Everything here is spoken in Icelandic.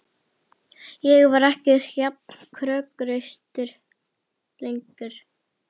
Ég var ekki jafn kokhraustur lengur.